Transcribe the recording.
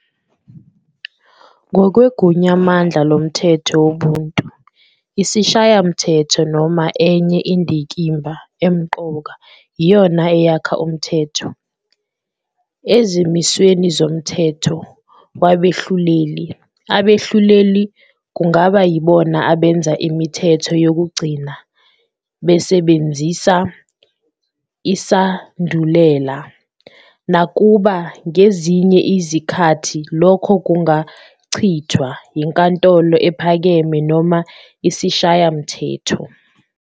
Ngokwegunyamandla lomthetho wobuntu, isishayamthetho noma enye indikimba emqoka iyona eyakha umthetho. Ezimisweni zomthetho wabehluleli, àbehluleli kungaba yibona abenza imithetho yokugcina besebenzisa isandulela, nakuba ngezinye izikhathi lokho kungachithwa inkantolo ephakeme noma isishayamthetho.